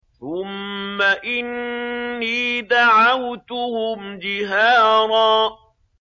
ثُمَّ إِنِّي دَعَوْتُهُمْ جِهَارًا